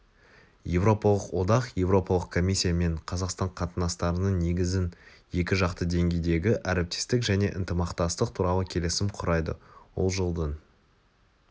еуропалық одақ еуропалық комиссия мен қазақстан қатынастарының негізін екі жақты деңгейдегі әріптестік және ынтымақтастық туралы келісім құрайды ол жылдың